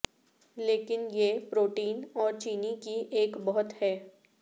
لیکن یہ پروٹین اور چینی کی ایک بہت ہے